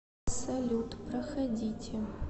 салют проходите